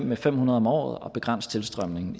med fem hundrede om året at begrænse tilstrømningen